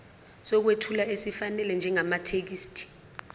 sokwethula esifanele njengamathekisthi